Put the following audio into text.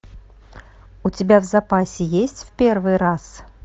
у тебя в запасе есть в первый раз